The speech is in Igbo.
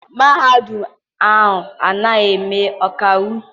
Mahadum ahụ ana eme ọkaiwu?